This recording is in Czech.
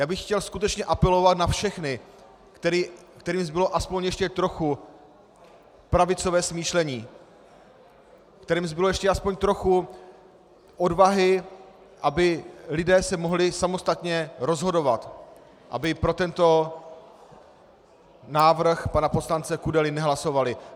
Já bych chtěl skutečně apelovat na všechny, kterým zbylo aspoň ještě trochu pravicové smýšlení, kterým zbylo ještě aspoň trochu odvahy, aby se lidé mohli samostatně rozhodovat, aby pro tento návrh pana poslance Kudely nehlasovali.